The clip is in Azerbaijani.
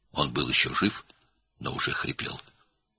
O, hələ sağ idi, amma artıq xırıldayırdı.